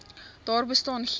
daar bestaan geen